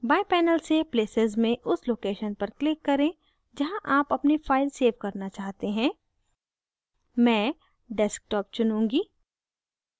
बाएं panel से places में उस location पर click करें जहाँ आप अपनी file सेव करना चाहते हैं मैं desktop चुनूँगी